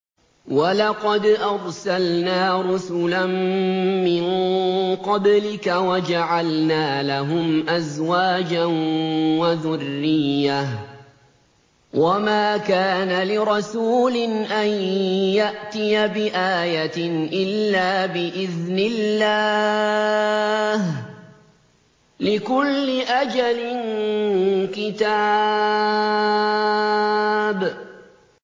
وَلَقَدْ أَرْسَلْنَا رُسُلًا مِّن قَبْلِكَ وَجَعَلْنَا لَهُمْ أَزْوَاجًا وَذُرِّيَّةً ۚ وَمَا كَانَ لِرَسُولٍ أَن يَأْتِيَ بِآيَةٍ إِلَّا بِإِذْنِ اللَّهِ ۗ لِكُلِّ أَجَلٍ كِتَابٌ